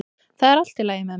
Það er allt í lagi með mig